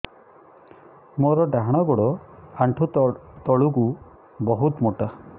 ମୋର ଡାହାଣ ଗୋଡ ଆଣ୍ଠୁ ତଳୁକୁ ବହୁତ ମୋଟା